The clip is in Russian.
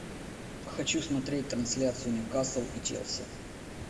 хочу смотреть трансляцию ньюкасл и челси